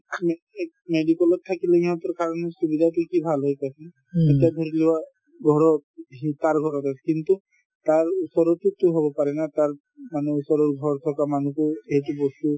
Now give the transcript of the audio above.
medical ত থাকিলে ইহঁতৰ কাৰণে কি কি ভাল হয় কোৱাচোন তেতিয়া ধৰি লোৱা ঘৰৰ তাৰ ওচৰৰতোৰ হব পাৰে না তাৰ মানুহ ওচৰ ঘৰ থকা মানুহটোৰ এইটো বস্তু